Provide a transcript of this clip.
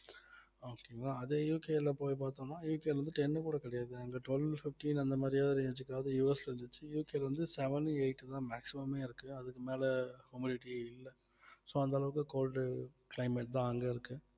okay ங்களா அதே UK ல போய் பார்த்தோம்ன்னா UK ல வந்து ten கூட கிடையாது அங்க twelve fifteen அந்த மாதிரி range க்காவது US வந்துச்சு UK ல வந்து seven உ eight தான் maximum ஏ இருக்கு அதுக்கு மேல இல்லை so அந்த அளவுக்கு cold climate தான் அங்க இருக்கு